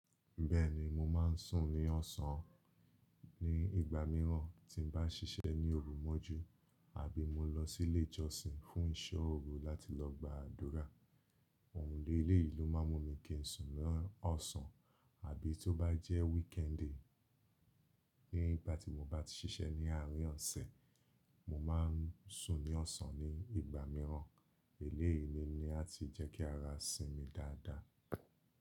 Bẹ́ẹ̀ni, mo máa ń sùn ní ọ̀sán ni ìgbà mìíràn tí n bá ṣiṣẹ́ ní òru mọ́jú àbí mo lọ sílé ìjọsìn fún ìṣọ́ òru láti lọ gba àdúrà. Àwọn eléyi lo máa n mú mi kí ń sùn lọ́ ọ̀sán àbí tó bá jẹ́ weekend nígbà tí mo bá ti ṣiṣẹ́ ní àárín ọ̀sẹ̀, mo máa ń sùn ní ọ̀sán ní ìgbà mìíràn. Eléyìí ni ní a ti jẹ́ kí ara sinmi dáadáa.